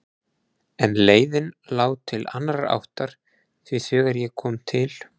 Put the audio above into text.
En leiðin lá til annarrar áttar því þegar ég kom til